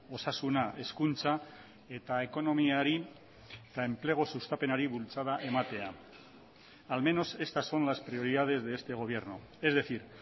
osasuna hezkuntza eta ekonomiari eta enplegu sustapenari bultzada ematea al menos estas son las prioridades de este gobierno es decir